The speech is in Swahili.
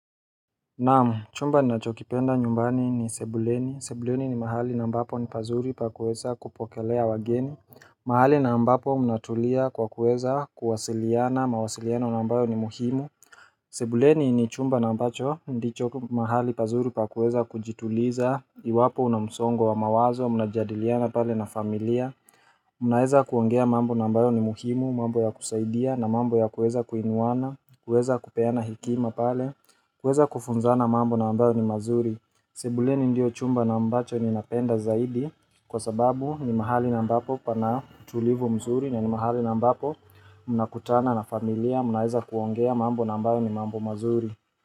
Naam, chumba na chokipenda nyumbani ni sebuleni, sebuleni ni mahali na ambapo ni pazuri pa kueza kupokelea wageni mahali na ambapo mnatulia kwa kuweza kuwasiliana, mawasiliana na ambayo ni muhimu sebuleni ni chumba na ambacho, ndicho mahali pazuri pa kuweza kujituliza, iwapo unamsongo wa mawazo, mnajadiliana pale na familia Unaweza kuongea mambo nambayo ni muhimu, mambo ya kusaidia na mambo ya kuweza kuinuana, kuweza kupeana hekima pale kuweza kufunzana mambo na ambayo ni mazuri sebuleni ndio chumba na ambacho ni napenda zaidi kwa sababu ni mahali na ambapo pana utulivu mzuri na ni mahali na ambapo mna kutana na familia mnaweza kuongea mambo na ambayo ni mambo mazuri.